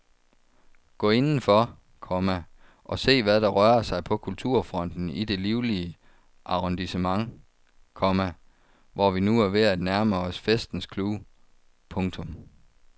Gå indenfor, komma og se hvad der rører sig på kulturfronten i dette livlige arrondissement, komma hvor vi nu er ved at nærme os festens clou. punktum